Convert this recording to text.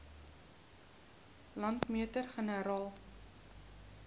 landmeter generaal